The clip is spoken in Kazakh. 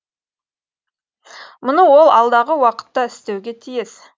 мұны ол алдағы уақытта істеуге тиіс